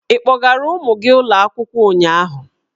Ị kpọgaara ụmụ gị ụlọ akwụkwọ ụnyahụ?